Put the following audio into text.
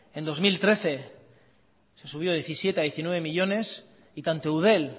en dos mil trece se subió de diecisiete a diecinueve millónes y tanto eudel